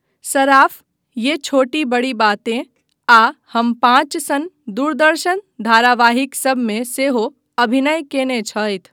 सराफ 'ये छोटी बड़ी बातें' आ 'हम पाँच' सन दूरदर्शन धारावाहिकसभमे सेहो अभिनय कयने छथि।